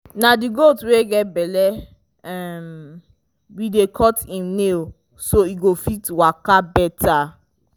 na the goat wey get belle um we dey cut im nail so e go fit waka better